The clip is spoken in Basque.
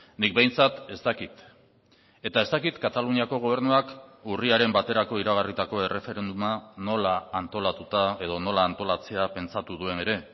nik behintzat ez dakit eta ez dakit kataluniako gobernuak urriaren baterako iragarritako erreferenduma nola antolatuta edo nola antolatzea pentsatu duen ere